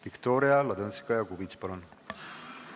Viktoria Ladõnskaja-Kubits, palun!